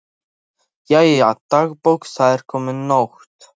Jæja, dagbók, það er komin nótt.